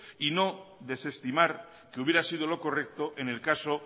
y no desestimar que hubiera sido lo correcto en el caso